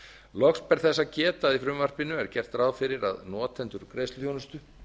loks ber þess að geta að í frumvarpinu er gert ráð fyrir að notendum greiðsluþjónustu